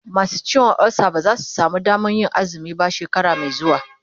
masu ciwon ulsa ba zasu samu Damanr Yin azumi ba shekara Mai xuwa